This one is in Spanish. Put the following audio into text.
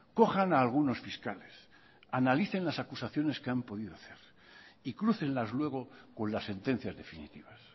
cojan a algunos fiscales analicen las acusaciones que han podido hacer y crúcenlas luego con las sentencias definitivas